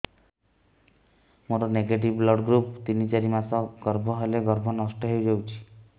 ମୋର negative blood group ତିନ ଚାରି ମାସ ଗର୍ଭ ହେଲେ ଗର୍ଭ ନଷ୍ଟ ହେଇଯାଉଛି